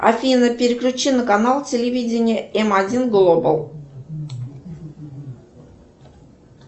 афина переключи на канал телевидение м один глобал